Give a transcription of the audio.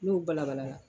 N'o balabala